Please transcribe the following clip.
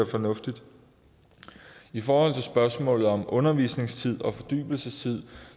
fornuftigt i forhold til spørgsmålet om undervisningstid og fordybelsestid